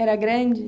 Era grande?